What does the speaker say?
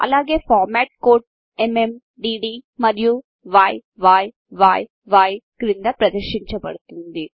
అలాగే format code MM DD మరియు య్య్ క్రింది ప్రదర్శించబడుతుంది